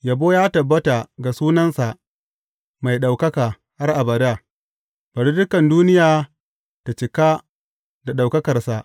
Yabo ya tabbata ga sunansa mai ɗaukaka har abada; bari dukan duniya ta cika da ɗaukakarsa.